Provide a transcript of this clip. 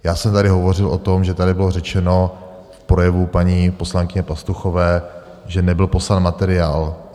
Já jsem tady hovořil o tom, že tady bylo řečeno v projevu paní poslankyně Pastuchové, že nebyl poslán materiál.